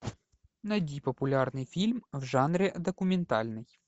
найди популярный фильм в жанре документальный